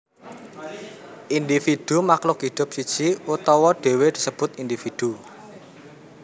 Individu Makhluk hidup siji utawa dhewe disebut individu